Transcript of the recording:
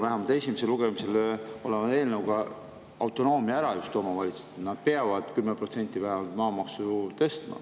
Igatahes selle esimesel lugemisel oleva eelnõu kohaselt nad peavad vähemalt 10% maamaksu tõstma.